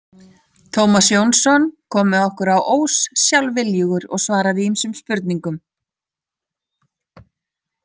Tómas Jónsson kom með okkur á Ós sjálfviljugur og svaraði ýmsum spurningum.